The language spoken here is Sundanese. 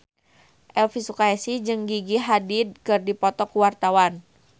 Elvy Sukaesih jeung Gigi Hadid keur dipoto ku wartawan